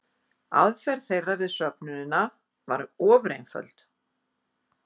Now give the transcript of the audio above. Aðferð þeirra við söfnunina var ofureinföld.